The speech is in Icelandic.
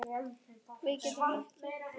Getum við þetta?